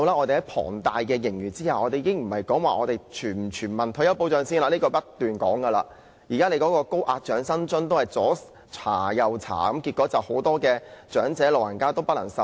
且不說我們不斷提出的全民退休保障，在有龐大盈餘的情況下，長者申請高額長者生活津貼仍要審查，令很多長者不能受惠。